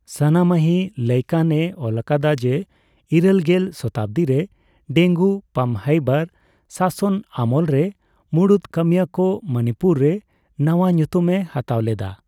ᱥᱟᱱᱟᱢᱟᱦᱤ ᱞᱟᱭᱠᱟᱱ ᱮ ᱚᱞᱟᱠᱟᱫᱟ ᱡᱮ ᱤᱨᱟᱹᱞ ᱜᱮᱞ ᱥᱚᱛᱟᱵᱫᱤᱨᱮ ᱰᱮᱝᱜᱩ ᱯᱟᱢᱦᱮᱭᱵᱟᱨ ᱥᱟᱥᱚᱱ ᱟᱢᱚᱞ ᱨᱮ ᱢᱩᱬᱩᱫ ᱠᱟᱹᱢᱤᱭᱟᱹ ᱠᱚ ᱢᱩᱱᱤᱯᱩᱨ ᱨᱮ ᱱᱟᱣᱟ ᱧᱩᱛᱩᱢ ᱮ ᱦᱟᱛᱟᱣ ᱞᱮᱫᱟ ᱾